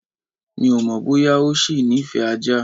Mi ò mọ̀ bóyá ọ ṣì nífẹ̀ẹ́ ajá.